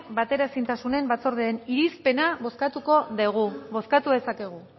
bateraezintasunen batzordearen irizpena bozkatuko dugu bozkatu dezakegu